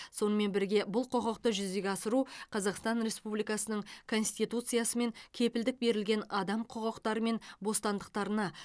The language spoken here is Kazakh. сонымен бірге бұл құқықты жүзеге асыру қазақстан республикасының конституциясымен кепілдік берілген адам құқықтары мен бостандықтарына